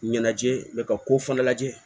Ɲɛnajɛ ka ko fana lajɛ